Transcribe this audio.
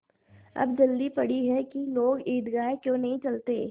अब जल्दी पड़ी है कि लोग ईदगाह क्यों नहीं चलते